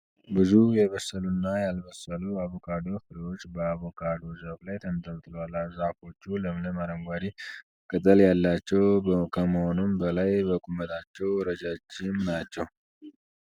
ብዙ የበሰሉ እና ያልበሰሉ የአቮካዶ ፍሬዎች በአቮካዶ ዛፍ ላይ ተንጠልጥለዋል። ዛፎቹ ለምለም አረንጓዴ ቅጠል ያላቸው ከመሆኑም በላይ በቁመታቸው ረጃጅም ናቸው።